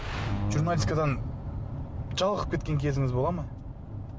журналистикадан жалығып кеткен кезіңіз бола ма